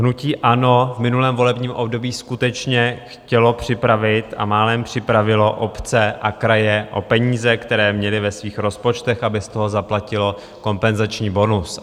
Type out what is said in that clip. Hnutí ANO v minulém volebním období skutečně chtělo připravit a málem připravilo obce a kraje o peníze, které měly ve svých rozpočtech, aby z toho zaplatilo kompenzační bonus.